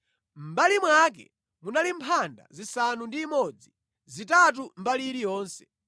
Mʼmbali mwake munali mphanda zisanu ndi imodzi, zitatu mbali iliyonse.